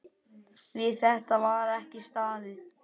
Við þetta var ekki staðið.